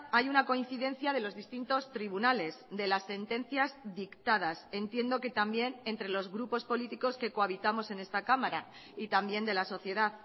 hay una coincidencia de los distintos tribunales de las sentencias dictadas entiendo que también entre los grupos políticos que cohabitamos en esta cámara y también de la sociedad